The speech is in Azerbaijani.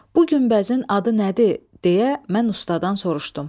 Bu günbəzin adı nədir deyə mən ustadan soruşdum.